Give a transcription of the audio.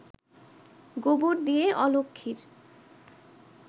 গোবর দিয়ে অলক্ষ্মীর